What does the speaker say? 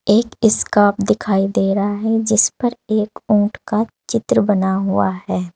एक स्कार्फ दिखाई दे रहा है जिस पर एक ऊंट का चित्र बना हुआ है।